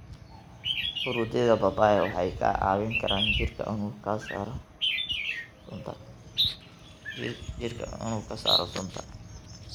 Fruityada papaya waxay ka caawin karaan jirka inuu ka saaro sunta.